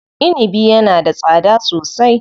Inibi yana da tsada sosai.